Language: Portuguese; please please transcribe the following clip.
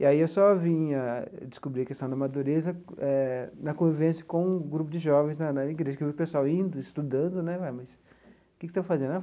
E aí eu só vim a descobrir a questão da madureza eh na convivência com um grupo de jovens na na igreja, que eu vi o pessoal indo, estudando né, mas o que que estão fazendo?